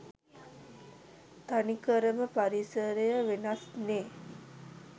තනිකරම පරිසරය වෙනස් නේ?